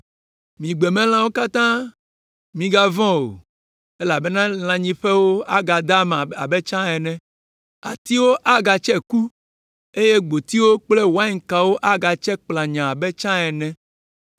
Mi gbemelãwo katã, migavɔ̃ o, elabena lãnyiƒewo agada ama abe tsã ene. Atiwo agatse ku eye gbotiwo kple wainkawo agatse kplanyaa abe tsã ene.